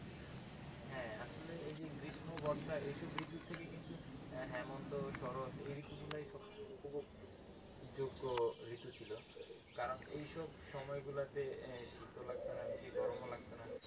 হ্যাঁ, আসলে এই যে গ্রীষ্ম বর্ষা এসব ঋতুর থেকে কিন্তু হেমন্ত শরৎ এই ঋতু গুলোই সবচেয়ে উপভোগযোগ্য ঋতু ছিল কারণ এইসব সময়গুলোতে শীতও লাগতো না বেশি গরম লাগত না।